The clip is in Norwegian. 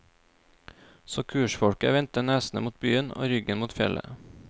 Så kursfolket vendte nesene mot byen og ryggen mot fjellet.